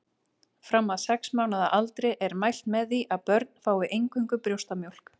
Fram að sex mánaða aldri er mælt með því að börn fái eingöngu brjóstamjólk.